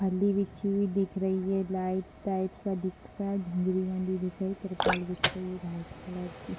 फल्‍ली बिछी हुई दिख रही है | लाइट टाईप का दिख रहा है | झंझरी वाली दिख रही तिरपाल बिछ रही व्‍हाईट कलर की |